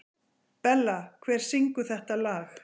Bella, hver syngur þetta lag?